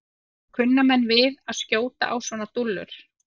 Kunna menn við að skjóta á svona dúllur?